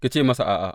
Ki ce masa a’a.’